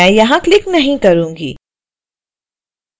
मैं यहां क्लिक नहीं करूंगी